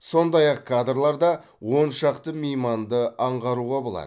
сондай ақ кадрларда он шақты мейманды аңғаруға болады